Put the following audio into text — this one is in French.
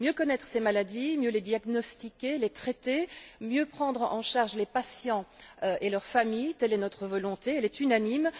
Mieux connaître ces maladies, mieux les diagnostiquer, les traiter, mieux prendre en charge les patients et leurs familles, telle est notre volonté, elle est unanime.